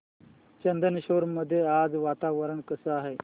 चंदनेश्वर मध्ये आज वातावरण कसे आहे